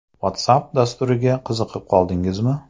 WhatsApp dasturiga qiziqib qoldingizmi?